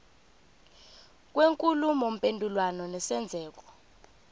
kwenkulumo mpendulwano nesenzeko